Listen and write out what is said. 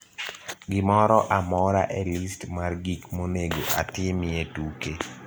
Gimoro amora e list mar gik monego atimie tuke